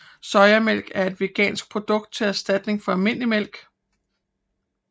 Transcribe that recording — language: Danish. Sojamælk er et vegansk produkt til erstatning for almindelig mælk